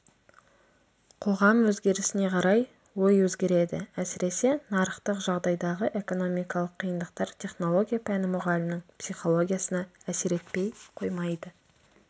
қоғам өзгерісіне қарай ой өзгереді әсіресе нарықтық жағдайдағы экономикалық қиындықтар технология пәні мұғалімінің психологиясына әсер етпей қоймайды